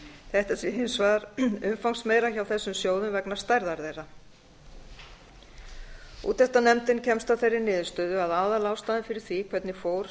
þetta sé hins vegar umfangsmeira hjá þessum sjóðum vegna stærðar þeirra úttektarnefndin kemst að þeirri niðurstöðu að aðalástæðan fyrir því hvernig fór